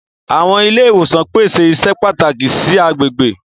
Awọn ile-iwosan pese iṣẹ pataki si agbegbe.